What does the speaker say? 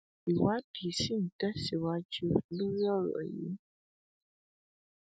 báyìí ni abilékọ òdengul ṣàlàyé ohun tójú ẹ rí lọwọ omìnkoro